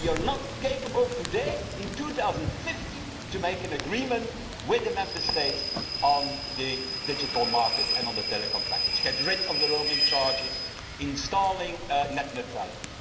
Are we not capable today, in 2015, of making an agreement with the Member States on the digital market and on the Telecoms Package, getting rid of the roaming charges, installing net neutrality?